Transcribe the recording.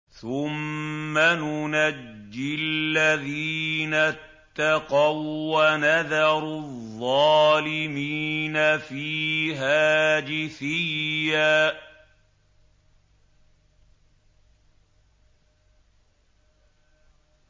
ثُمَّ نُنَجِّي الَّذِينَ اتَّقَوا وَّنَذَرُ الظَّالِمِينَ فِيهَا جِثِيًّا